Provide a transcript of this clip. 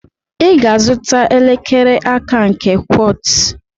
I ga-azụta elekere aka nke Quartz.